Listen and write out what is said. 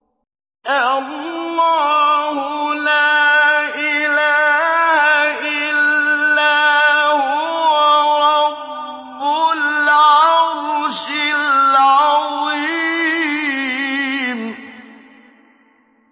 اللَّهُ لَا إِلَٰهَ إِلَّا هُوَ رَبُّ الْعَرْشِ الْعَظِيمِ ۩